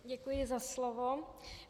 Děkuji za slovo.